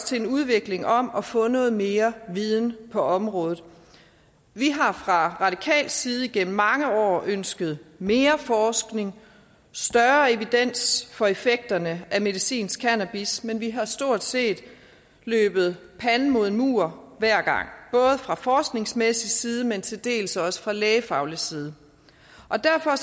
til en udvikling om at få noget mere viden på området vi har fra radikal side igennem mange år ønsket mere forskning og større evidens for effekterne af medicinsk cannabis men vi har stort set løbet panden mod en mur hver gang både fra forskningsmæssig side men til dels også fra lægefaglig side derfor